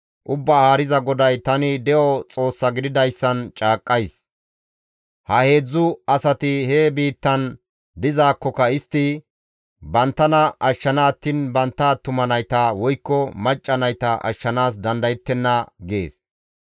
Ubbaa Haariza GODAY, ‹Tani de7o Xoossa gididayssan caaqqays: ha heedzdzu asati he biittan dizaakkoka istti banttana ashshana attiin bantta attuma nayta woykko macca nayta ashshanaas dandayettenna› gees.